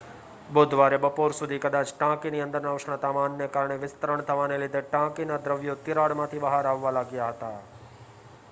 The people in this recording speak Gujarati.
બુધવારે બપોર સુધી કદાચ ટાંકીની અંદરના ઉષ્ણતામાનને કારણે વિસ્તરણ થવાને લીધે ટાંકીના દ્રવ્યો તિરાડમાંથી બહાર આવવા લાગ્યા હતા